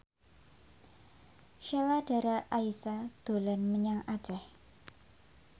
Sheila Dara Aisha dolan menyang Aceh